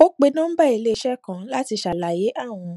ó pe nọmbà íléiṣé kan láti ṣàlàyé àwọn